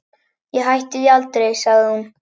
Ég hætti því aldrei, sagði hún.